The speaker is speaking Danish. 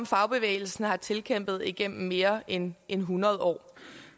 fagbevægelsen har tilkæmpet sig igennem mere end end hundrede år